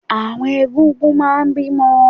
Àwọn egún-gún máa n bínú